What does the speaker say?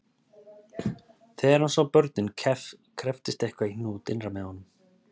Þegar hann sá börnin krepptist eitthvað í hnút innra með honum